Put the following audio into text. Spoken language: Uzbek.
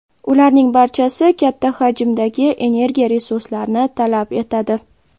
Ularning barchasi katta hajmdagi energiya resurslarini talab etadi.